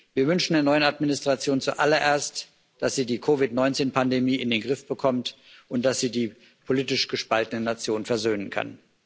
Wir wünschen der neuen Administration zuallererst, dass sie die COVID 19 Pandemie in den Griff bekommt und dass sie die politisch gespaltene Nation versöhnen kann.